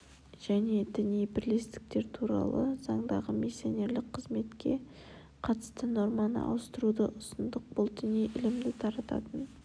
және діни бірлестіктер туралы заңдағы миссионерлік қызметке қатысты норманы ауыстыруды ұсындық бұл діни ілімді тарататын